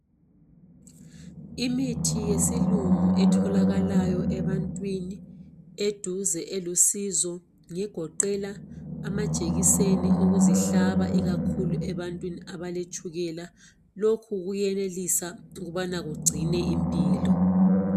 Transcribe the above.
Imithi yesilungu etholakalayo ebantwini eduze elusizo ngegoqela amajekiseni okuzihlaba ikakhulu ebantwini abaletshukela. Lokhu kuyenelisa ukubana kugcine impilo.